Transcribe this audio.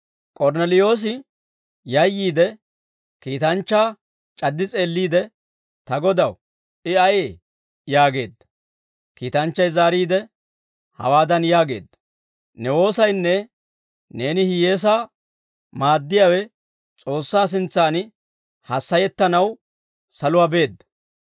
K'ornneliyoosi yayyiide, kiitanchchaa c'addi s'eelliide, «Ta Godaw, I ayee?» yaageedda. Kiitanchchay zaariide, hawaadan yaageedda; «Ne woosaynne neeni hiyyeesaa maaddiyaawe S'oossaa sintsan hassayettanaw saluwaa beedda.